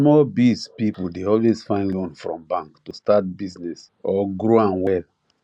small biz people dey always find loan from bank to start business or grow am well